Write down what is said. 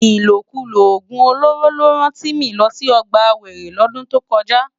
Ilókúló ógún ólóró ló rán Timi lò si ògbá wéré lòdún tókòjá